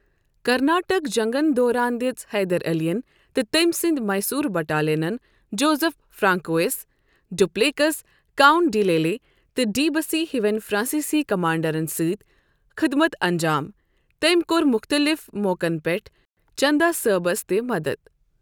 کارناٹک جنگن دوران دژ حیدر علین تہٕ تٔمۍ سٕنٛدۍ ِمیسور بٹالینن Joseph Francois Dupleix, count de Lally تہٕ ڈی بسی ہٮ۪وین فرانسیسی کمانڈرن سۭتۍ خدمت انجام، تٔمۍ کوٚر مختلف موقعن پٮ۪ٹھ چندا صٲبس تہِ مدد۔